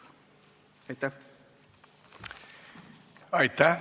Aitäh!